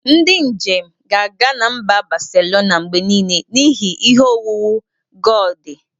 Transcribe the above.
Ndị njem ga-aga na mba Baselona mgbe niile n'ihi ihe owuwu Gaudi.